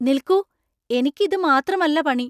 നിൽക്കൂ, എനിക്ക് ഇത് മാത്രമല്ല പണി.